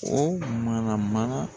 O mana mana